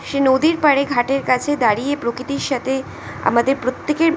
সে নদীর পারে ঘাটের কাছে দাঁড়িয়ে প্রকৃতির সাথে আমাদের প্রত্যেকের--